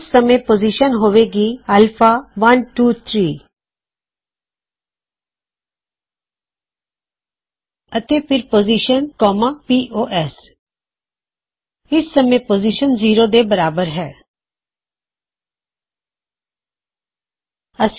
ਉਸ ਸਮੇਂ ਪੋਜ਼ਿਸ਼ਨ ਹੋਵੇਗੀ -Alpha123 ਅਤੇ ਫਿਰ ਪੋਜ਼ਿਸ਼ਨ ਪੋਸ ਇਸ ਸਮੇ ਪੋਜ਼ਿਸ਼ਨ 0 ਦੇ ਬਰਾਬਰ ਹੇ